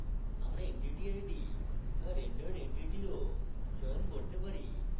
আমরা entity id বা rendered entity ও চয়ন করতে পারি